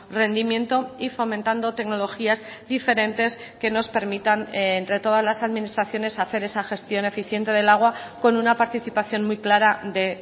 rendimiento y fomentando tecnologías diferentes que nos permitan entre todas las administraciones hacer esa gestión eficiente del agua con una participación muy clara de